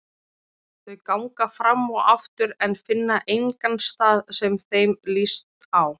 Þau ganga fram og aftur en finna engan stað sem þeim líst á.